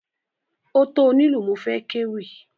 Ó tó onílù mo fẹ́ kéwì.